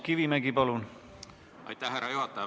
Aitäh, härra juhataja!